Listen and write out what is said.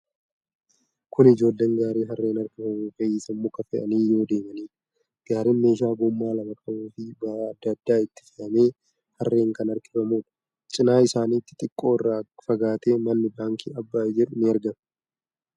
Kun ijoolleen gaarii harreen harkifamutti fe'iisa mukaa fe'anii yoo deemanidha. Gaariin meeshaa gommaa lama qabuufii ba'aa adda addaa itti fe'amee harreen kan harkifamuudha. Cinaa isaanitti xiqqoo irraa fagaatee manni baankii Abbaay jedhu ni argama.